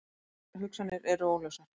Allar hugsanir eru óljósar.